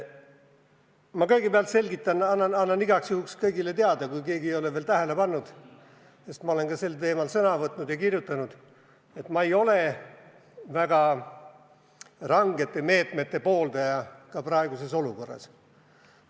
Ma kõigepealt selgitan, annan igaks juhuks kõigile teada, kui keegi ei ole veel tähele pannud – ma olen ka sel teemal sõna võtnud ja kirjutanud –, et ma ei ole väga rangete meetmete pooldaja ka praeguses olukorras.